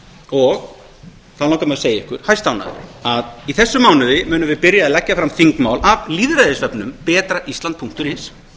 og þá langar mig að segja ykkur hæstánægður að í þessum mánuði munum við byrja að leggja fram þingmál af lýðræðisvefnum betraisland punktur is